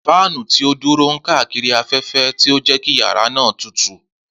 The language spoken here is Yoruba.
Fáànù ti o duro n kaakiri afẹfẹ, ti o jẹ ki yara naa tutu.